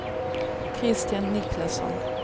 Kristian Niklasson